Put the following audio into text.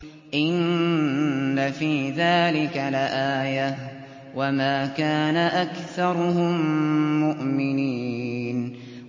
إِنَّ فِي ذَٰلِكَ لَآيَةً ۖ وَمَا كَانَ أَكْثَرُهُم مُّؤْمِنِينَ